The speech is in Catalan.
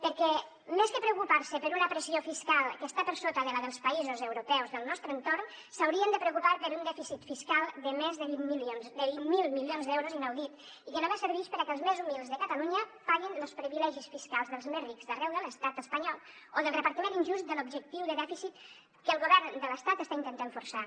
perquè més que preocupar se per una pressió fiscal que està per sota de la dels països europeus del nostre entorn s’haurien de preocupar per un dèficit fiscal de més de vint miler milions d’euros inaudit i que només servix per a què els més humils de catalunya paguin los privilegis fiscals dels més rics d’arreu de l’estat espanyol o del repartiment injust de l’objectiu de dèficit que el govern de l’estat està intentant forçar